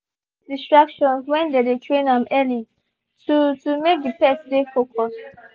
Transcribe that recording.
they been minimize distractions when they dey train am early to to make the pet dey focused